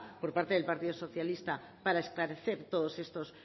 por parte del partido socialista para esclarecer todos estos